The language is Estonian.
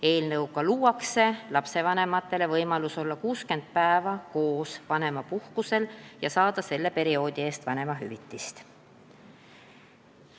Eelnõuga luuakse lastevanematele võimalus olla 60 päeva koos vanemapuhkusel ja saada selle perioodi eest vanemahüvitist.